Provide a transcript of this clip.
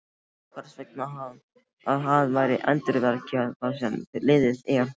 Hvers vegna að vera að endurvekja það sem liðið er?